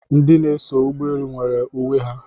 Ndị na-eso ụgbọelu nwere uwe ha